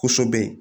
Kosɛbɛ